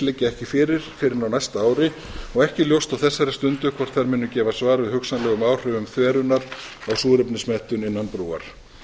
liggja ekki fyrir fyrr en á næsta ári og ekki er ljóst á þessari stundu hvort þær munu gefa svar við hugsanlegum áhrifum þverunar á súrefnismettun innan brúar